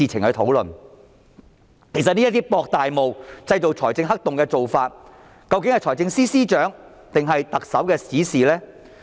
這種渾水摸魚、製造財政黑洞的做法，究竟是財政司司長還是特首的指示呢？